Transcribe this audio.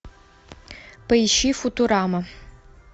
поищи футурама